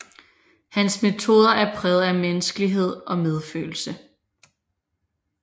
Hans metoder er præget af menneskelighed og medfølelse